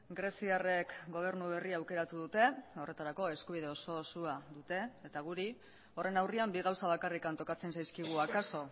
greziarrek gobernu berria aukeratu dute horretarako eskubide oso osoa dute eta guri horren aurrean bi gauza bakarrik tokatzen zaizkigu akaso